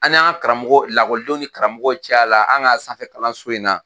An ni an ka karamɔgɔ lakɔlidenw ni karamɔgɔw cɛ la an ka sanfɛ kalanso in na.